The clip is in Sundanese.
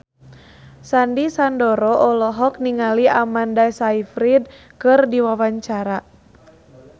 Sandy Sandoro olohok ningali Amanda Sayfried keur diwawancara